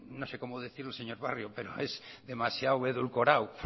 no sé cómo decirlo señor barrio pero es demasiado edulcorado